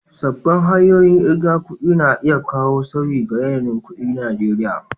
Sabbin hanyoyin ƙirga kuɗi na iya kawo sauyi ga yanayin kuɗin Najeriya.